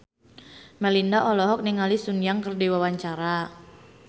Melinda olohok ningali Sun Yang keur diwawancara